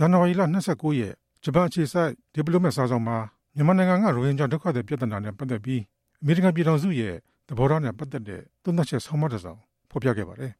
န်နဝါရီလ ၂၉ ရက်နေ့ ဂျပန်အခြေစိုက် The Diplomat စာစောင်မှာ မြန်မာနိုင်ငံက ရိုဟင်ဂျာ ဒုက္ခသည်ပြဿနာအပေါ် အမေရိကန်ပြည်ထောင်စုရဲ့ သဘောထားနဲ့ ပါဝင်ပတ်သက်မှုဆိုင်ရာ သုံးသပ်ချက် ဆောင်းပါးတစ်စောင် ဖော်ပြခဲ့ပါတယ်